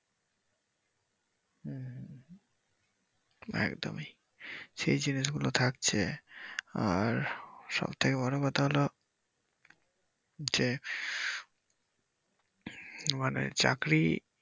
হম একদমই সেই জিনিসগুলো থাকছে আর সবথেকে বড় কথা হলো যে মানে চাকরি